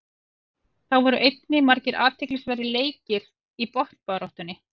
Þá voru einnig margir athyglisverðir leikir í botnbaráttunni.